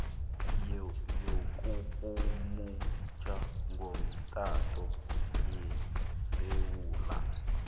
yokurhumutjha ngomtato yesewula